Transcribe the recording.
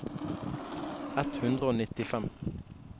ett hundre og nittifem